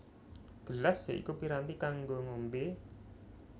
Gelas ya iku piranti kanggo ngombé